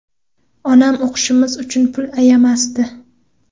Onam o‘qishimiz uchun pul ayamasdi.